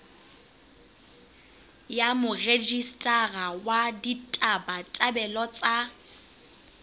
ya morejistara wa ditabatabelo tsa